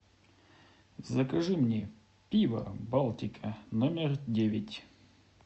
закажи мне пиво балтика номер девять